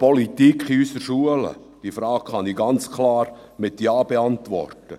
– Diese Frage kann ich ganz klar mit Ja beantworten.